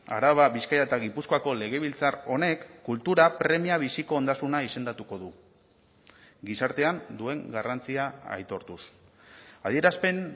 araba bizkaia eta gipuzkoako legebiltzar honek kultura premia biziko ondasuna izendatuko du gizartean duen garrantzia aitortuz adierazpen